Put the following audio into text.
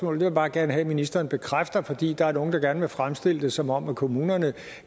vil jeg bare gerne have ministeren bekræfter fordi der er nogle der gerne vil fremstille det som om kommunerne